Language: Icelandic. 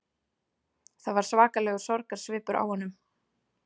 Það var svakalegur sorgarsvipur á honum